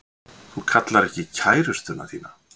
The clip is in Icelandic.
Þú kallar ekki kærustuna þína.